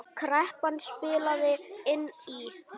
Kreppan spilaði inn í.